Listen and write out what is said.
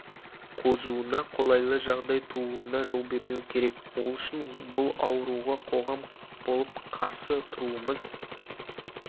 қозуына қолайлы жағдай тууына жол бермеу керек ол үшін бұл ауруға қоғам болып қарсы тұруымыз